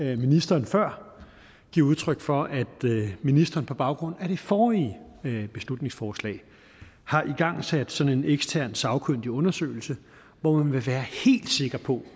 vi ministeren før give udtryk for at ministeren på baggrund af det forrige beslutningsforslag har igangsat sådan en ekstern sagkyndig undersøgelse hvor man vil være helt sikker på